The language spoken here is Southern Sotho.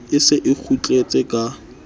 e se e kgutletse ka